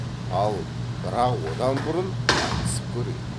ал бірақ одан бұрын айтысып көрейік